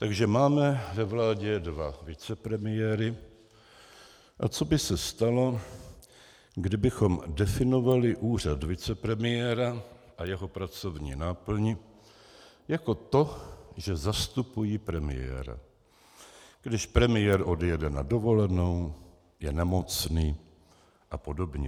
Takže máme ve vládě dva vicepremiéry, a co by se stalo, kdybychom definovali úřad vicepremiéra a jeho pracovní náplň jako to, že zastupují premiéra, když premiér odjede na dovolenou, je nemocný a podobně.